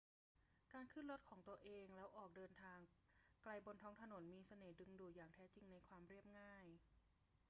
การขึ้นรถของตัวเองแล้วออกเดินทางไกลบนท้องถนนมีเสน่ห์ดึงดูดอย่างแท้จริงในความเรียบง่าย